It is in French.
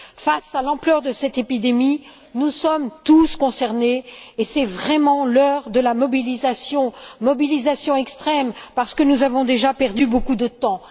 Face à l'ampleur de cette épidémie, nous sommes tous concernés et c'est vraiment l'heure de la mobilisation, mobilisation extrême parce que nous avons déjà perdu beaucoup de temps.